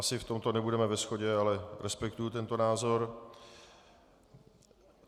Asi v tomto nebudeme ve shodě, ale respektuji tento názor.